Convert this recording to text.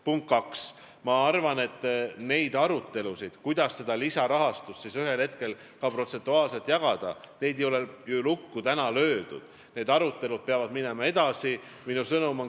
Punkt kaks, ma arvan, et neid arutelusid, kuidas seda lisarahastust ühel hetkel ka protsentuaalselt jagada, ei ole ju täna lukku löödud, need arutelud peavad edasi minema.